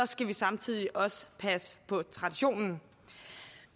skal vi samtidig også passe på traditionen